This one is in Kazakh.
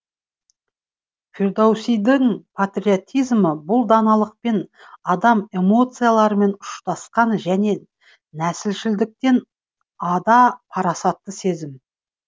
фирдоусидің патриотизмі бұл даналықпен адами эмоциялармен ұштасқан және нәсілшілдіктен ада парасатты сезім